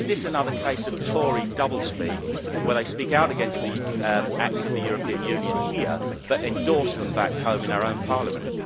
Is this another case of Tory double speak, where they speak out against the acts of the European Union here but endorse them back home in our own parliament?